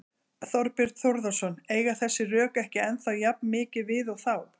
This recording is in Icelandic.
Þorbjörn Þórðarson: Eiga þessi rök ekki ennþá jafn mikið við og þá?